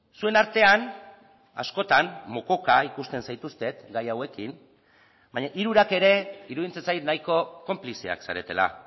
zuen artean askotan mokoka ikusten zaituztet gai hauekin baina hirurak ere iruditzen zait nahiko konplizeak zaretela